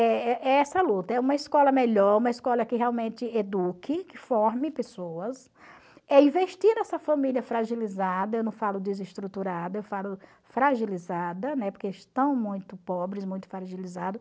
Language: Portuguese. É é é essa luta, é uma escola melhor, uma escola que realmente eduque, que forme pessoas, é investir nessa família fragilizada, eu não falo desestruturada, eu falo fragilizada, né, porque estão muito pobres, muito fragilizados,